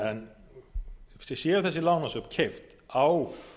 en séu þessi lánasöfn keypt á